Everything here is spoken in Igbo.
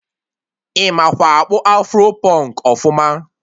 Ị makwa akpụ afro pụnk ọfụma?